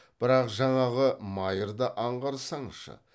бірақ жаңағы майырды аңғарсаңшы